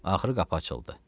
Axırı qapı açıldı.